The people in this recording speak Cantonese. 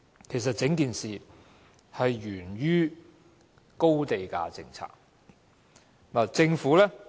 其實，整個問題是源於高地價政策。